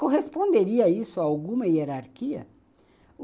Corresponderia isso a alguma hierarquia?